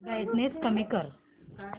brightness कमी कर